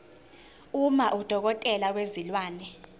uma udokotela wezilwane